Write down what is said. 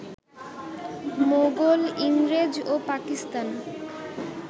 মোগল, ইংরেজ ও পাকিস্তান